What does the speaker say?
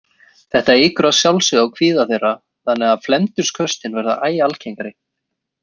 Þetta eykur að sjálfsögðu á kvíða þeirra þannig að felmtursköstin verða æ algengari.